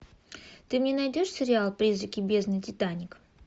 ты мне найдешь сериал призраки бездны титаник